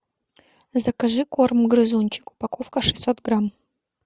закажи корм грызунчик упаковка шестьсот грамм